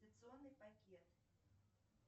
пакет